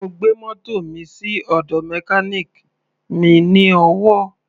Mo gbé mótò mi sí ọ̀dọ̀ mechanic mi ní Owo.